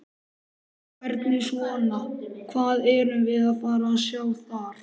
Hvernig svona, hvað erum við að fara sjá þar?